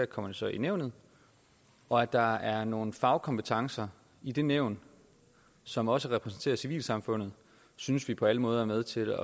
kommer det så i nævnet og at der er nogle fagkompetencer i det nævn som også repræsenterer civilsamfundet synes vi på alle måder er med til